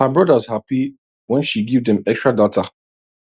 her brothers happy when she give dem extra data